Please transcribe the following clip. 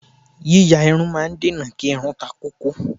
Yíya irun máa ń dènà kí irun takókó.